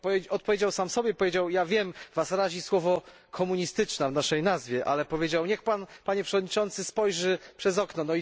Odpowiedział sam sobie Ja wiem, was razi słowo komunistyczna w naszej nazwie, ale powiedział też Niech Pan, Panie Przewodniczący, spojrzy przez okno.